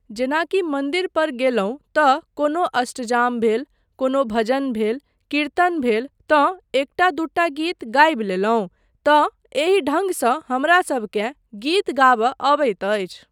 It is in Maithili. जेनाकि मन्दिर पर गेलहुँ तँ कोनो अष्टयाम भेल, कोनो भजन भेल, किरतन भेल तँ एकटा दूटा गीत गाबि लेलहुँ तँ एहि ढङ्गसँ हमरासबकेँ गीत गाबय अबैत अछि।